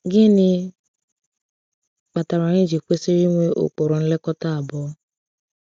Gịnị kpatara anyị ji kwesịrị ịnwe ụkpụrụ nlekọta abụọ?